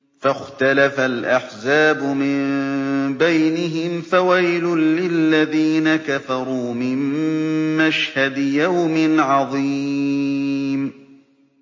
فَاخْتَلَفَ الْأَحْزَابُ مِن بَيْنِهِمْ ۖ فَوَيْلٌ لِّلَّذِينَ كَفَرُوا مِن مَّشْهَدِ يَوْمٍ عَظِيمٍ